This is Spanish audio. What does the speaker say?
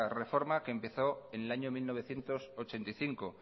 reforma que empezó en el año mil novecientos ochenta y cinco